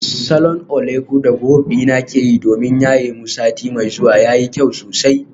Salon oleku da group dina ke yi domin yaye mu sati mai zuwa yayi kyau sosai.